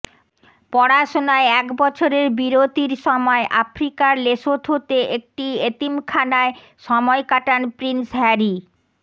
পড়াশুনায় এক বছরের বিরতির সময় আফ্রিকার লেসোথোতে একটি এতিমখানায় সময় কাটান প্রিন্স হ্যারি